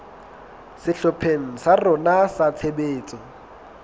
sehlopheng sa rona sa tshebetso